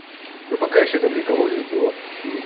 ну пока ещё там никого не сдуло